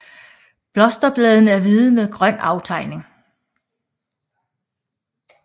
Blosterbladene er hvide med en grøn aftegning